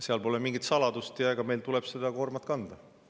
Seal pole mingit saladust ja meil tuleb seda koormat kanda.